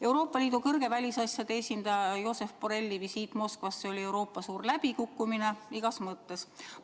Euroopa Liidu kõrge välisasjade esindaja Josep Borrelli visiit Moskvasse oli Euroopa jaoks suur läbikukkumine igas mõttes.